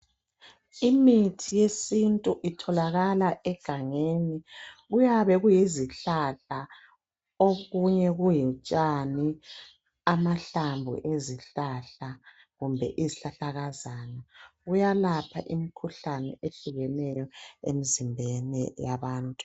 Imithi yesintu itholakala egangeni kuyabe kuyizihlahla okunye kubutshani, amahlamvu ezihlahla kumbe izihlahlakazana. Kuyalapha imikhuhlane ehlukeneyo emzimbeni yabantu.